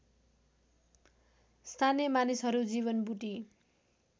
स्थानीय मानिसहरू जीवनबुटी